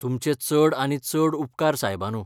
तुमचे चड आनी चड उपकार सायबानू.